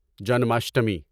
Janmashtami